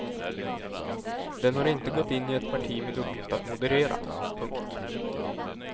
Den har inte gått in i ett parti med uppgift att moderera. punkt